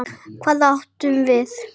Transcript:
Hvað átum við?